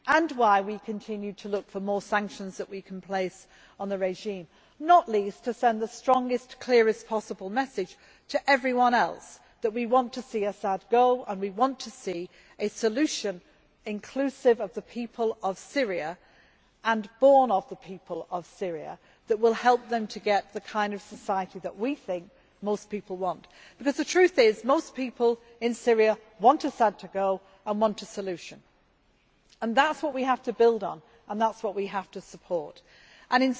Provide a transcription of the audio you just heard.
It is also why we continue to look for more sanctions that we can place on the regime, not least to send the strongest and clearest message to everyone else that we want to see Assad go and we want to see a solution inclusive of the people of Syria, and born of the people of Syria, that will help them get the kind of society that we think most people want, because the truth is most people in Syria want Assad to go and want a solution. That is what we have to build on and that is what we have to support, and